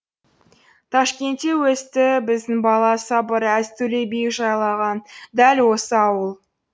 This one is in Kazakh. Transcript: ташкентте өсті біздің бала сабыр әз төле би жайлаған дәл осы ауыл